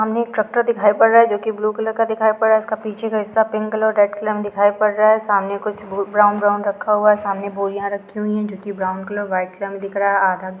सामने एक ट्रकतर दिखाई पड़ रहा है जोकि ब्लू कलर का दिखाई पड़ा है इसके पीछे का हिस्सा पिंक कलर और रेड कलर मे दिखाई पद रहा है सामने कुछ ब्राउन ब्राउन रका हुआ है सामने बोरिया रही हुई है। जोकि ब्राउन कलर और वाईट कलर मे दिख रहा है। आध --